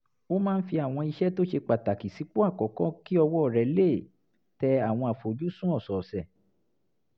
ó máa ń fi àwọn iṣẹ́ tó ṣe pàtàkì sípò àkọ́kọ́ kí ọwọ́ rẹ̀ lè tẹ àwọn àfojúsùn ọ̀sọ̀ọ̀sẹ̀